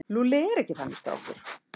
Lúlli er ekki þannig strákur.